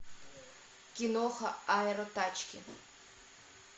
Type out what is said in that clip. киноха аэротачки